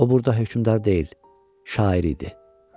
O burda hökmdar deyil, şair idi.